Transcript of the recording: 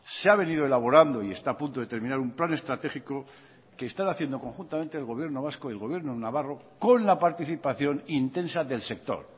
se ha venido elaborando y está a punto de terminar un plan estratégico que están haciendo conjuntamente el gobierno vasco el gobierno navarro con la participación intensa del sector